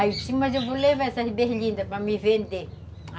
Aí eu disse, mas eu vou levar essas berlindas para me vender, a